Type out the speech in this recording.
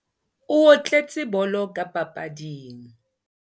O otletse bolo ka papading.